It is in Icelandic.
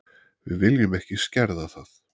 Við viljum ekki skerða það.